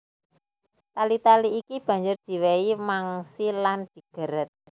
Tali tali iki banjur diwèhi mangsi lan digèrèt